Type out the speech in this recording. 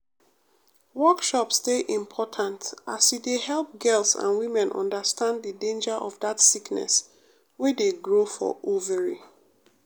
workshops dey important e dey help girls and women understand the danger of that sickness wey dey grow for ovary.